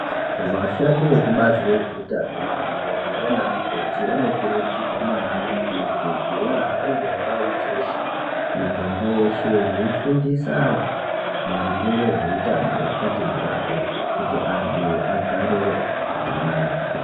Vashandi vekubazi rezveutano madhogodheya naana mukoti vanokurudzirwa maningi kuti vahambe ndau dzeshe miganga yeshe veifundisa antu maringe ngezveutano hwakati mhoryo kuti vantu vagare zvakanaka.